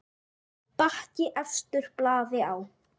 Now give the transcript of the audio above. Bakki efstur blaði á.